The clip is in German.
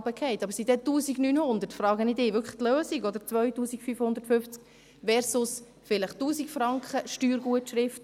Aber sind denn 1900 Franken wirklich die Lösung, frage ich Sie, oder 2000 Franken versus vielleicht 1000 Franken Steuergutschrift?